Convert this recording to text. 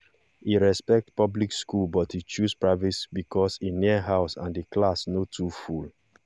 e respect public school but e choose private because e near house and the class no too full